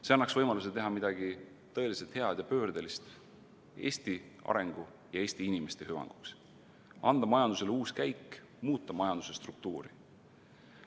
See annaks võimaluse teha midagi tõeliselt head ja pöördelist Eesti arengu ja Eesti inimeste hüvanguks, anda majandusele uus käik, muuta majanduse struktuuri.